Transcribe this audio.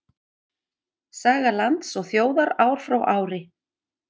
Saga lands og þjóðar ár frá ári.